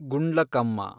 Gundlakamma